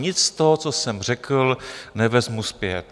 Nic z toho, co jsem řekl, nevezmu zpět.